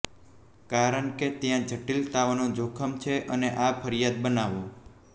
કારણ કે ત્યાં જટિલતાઓને જોખમ છે અને આ ફરજિયાત બનાવો